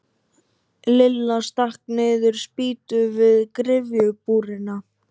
Lilla stakk niður spýtu við gryfjubrúnina.